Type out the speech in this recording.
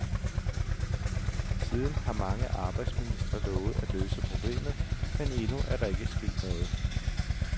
Siden har mange arbejdsministre lovet at løse problemet, men endnu er der ikke sket noget.